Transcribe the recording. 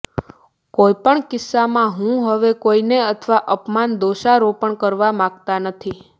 કોઈ પણ કિસ્સામાં હું હવે કોઈને અથવા અપમાન દોષારોપણ કરવા માગતા નથી